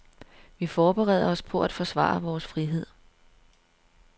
Vi forbereder os på at forsvare vores frihed.